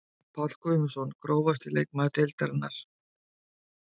Páll Guðmundsson Grófasti leikmaður deildarinnar?